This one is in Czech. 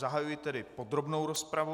Zahajuji tedy podrobnou rozpravu.